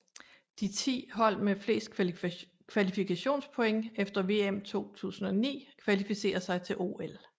De ti hold med flest kvalifikationspoint efter VM 2009 kvalificerer sig til OL